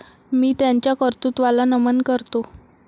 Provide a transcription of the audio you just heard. मी त्यांच्या कर्तृत्वाला नमन करतो.